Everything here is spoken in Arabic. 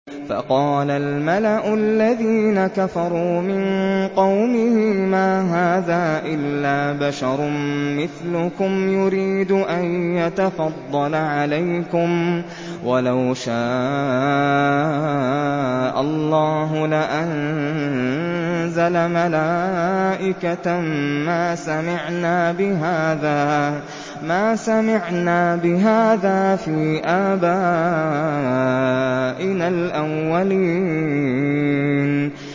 فَقَالَ الْمَلَأُ الَّذِينَ كَفَرُوا مِن قَوْمِهِ مَا هَٰذَا إِلَّا بَشَرٌ مِّثْلُكُمْ يُرِيدُ أَن يَتَفَضَّلَ عَلَيْكُمْ وَلَوْ شَاءَ اللَّهُ لَأَنزَلَ مَلَائِكَةً مَّا سَمِعْنَا بِهَٰذَا فِي آبَائِنَا الْأَوَّلِينَ